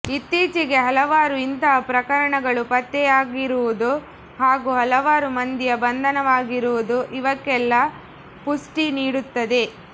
ಇತ್ತೀಚೆಗೆ ಹಲವಾರು ಇಂತಹ ಪ್ರಕರಣಗಳು ಪತ್ತೆಯಾಗಿರುವುದು ಹಾಗೂ ಹಲವಾರು ಮಂದಿಯ ಬಂಧನವಾಗಿರುವುದು ಇವಕ್ಕೆಲ್ಲ ಪುಷ್ಟಿ ನೀಡುತ್ತದೆ